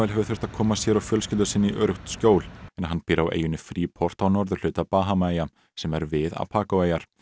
hefur þurft að koma sér og fjölskyldu sinni í öruggt skjól en hann býr á eyjunni free port á norðurhluta Bahamaeyja sem er við Abaco eyjar